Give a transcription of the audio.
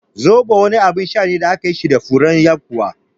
Zobo wani abin sha ne da akayi shi da furen yakuwa